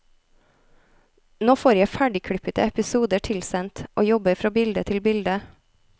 Nå får jeg ferdigklippede episoder tilsendt, og jobber fra bilde til bilde.